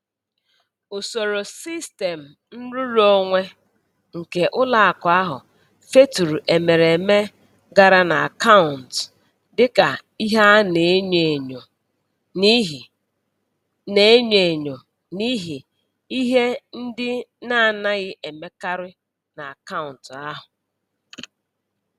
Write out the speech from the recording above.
Usoro sistem nrụrụonwe nke ụlọakụ ahụ feturu emereme gara n'akaụntụ dịka ihe a na-enyo enyo n'ihi na-enyo enyo n'ihi ihe ndị na-anaghị emekarị n'akaụntụ ahụ.